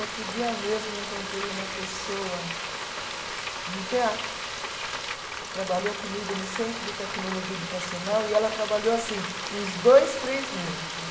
Outro dia mesmo, eu encontrei uma pessoa no teatro, que trabalhou comigo no Centro de Tecnologia Educacional, e ela trabalhou, assim, uns dois, três meses lá.